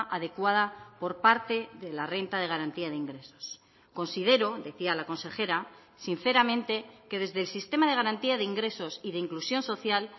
adecuada por parte de la renta de garantía de ingresos considero decía la consejera sinceramente que desde el sistema de garantía de ingresos y de inclusión social